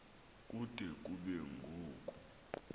kude kube ngoku